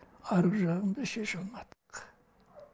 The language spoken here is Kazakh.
арғы жағын біз шеше алмадық